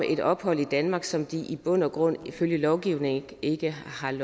et ophold i danmark som de i bund og grund ifølge lovgivningen ikke har ret